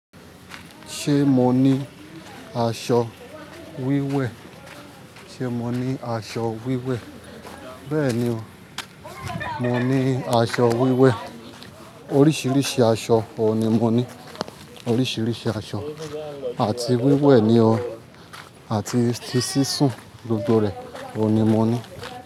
Ṣé mo ní aṣọ wíwẹ̀? Ṣé mo ní aṣọ wíwẹ̀? Bẹ́ẹ̀ni o, mo ní aṣọ wíwẹ̀. Oríṣiríṣi aṣọ òhun ní mo ní. Oríṣiríṣi aṣọ àti wíwẹ̀ ni o. Àti ti sísun gbogbo rẹ̀ òní mo ní.